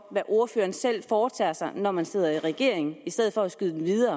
hvad ordføreren selv foretager sig når man sidder i regering i stedet for at skyde